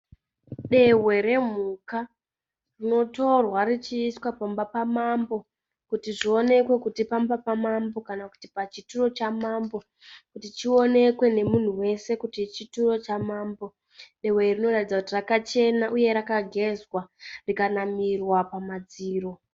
Dehwe remhuka rinotorwa richiiswa pamba pamambo, kuti zvionekwe kuti pamba pamambo kana kuti pachituro chamambo kuti chionekwe nemunhu wese kuti ichi chituro chamambo. Dehwe iri rinoratidza kuti rakachena uye rakagezwa rikanamirwa pamadziro.